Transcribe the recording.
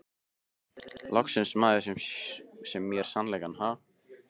Loksins maður sem segir mér sannleikann, ha?